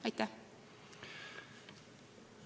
Aitäh!